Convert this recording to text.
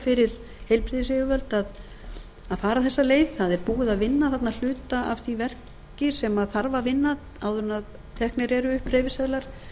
fyrir heilbrigðisyfirvöld að fara þessa leið það er búið að vinna þarna hluta af því verki sem þarf að vinna áður en teknir eru upp hreyfiseðlar